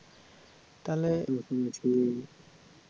তালে